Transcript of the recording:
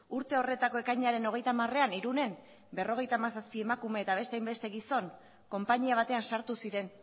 urte horretako ekainaren hogeita hamarean irunen berrogeita hamazazpi emakume eta beste hainbeste gizon konpainia batean sartu ziren